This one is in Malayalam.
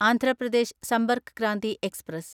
ആന്ധ്ര പ്രദേശ് സമ്പർക്ക് ക്രാന്തി എക്സ്പ്രസ്